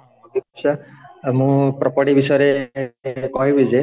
ଆଉ ମୁଁ property ବିଷୟରେ କହିବି ଯେ